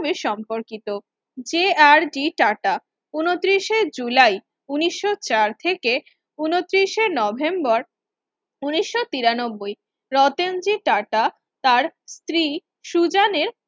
সম্পর্কিত যে R D টাটাস উনো তিশির এ জুলাই উনিশশো চার থেকে উনো তিশির এ নভেম্বর উনিশশো তিরানব্বই রতনজি টাটা তার স্ত্রী সুজনের